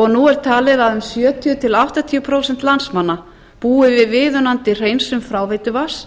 og nú er talið að um sjötíu til áttatíu prósent landsmanna búi við viðunandi hreinsun fráveituvatns